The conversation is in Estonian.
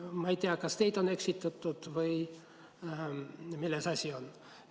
Ma ei tea, kas teid on eksitatud või milles asi on.